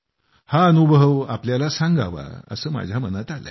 हा अनुभव तुम्हाला सांगावा असं माझ्या मनात आलंय